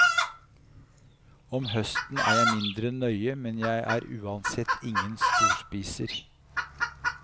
Om høsten er jeg mindre nøye, men jeg er uansett ingen storspiser.